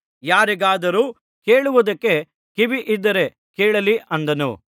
ಯಾರಿಗಾದರೂ ಕೇಳುವುದಕ್ಕೆ ಕಿವಿಯಿದ್ದರೆ ಕೇಳಲಿ ಅಂದನು